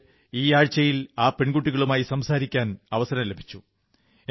എനിക്ക് ഈ ആഴ്ചയിൽ ആ പെൺകുട്ടികളുമായി സംസാരിക്കാൻ അവസരം ലഭിച്ചു